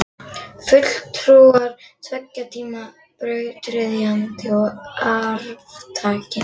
Fulltrúar tveggja tíma, brautryðjandinn og arftakinn.